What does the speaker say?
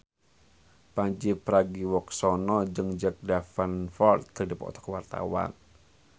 Pandji Pragiwaksono jeung Jack Davenport keur dipoto ku wartawan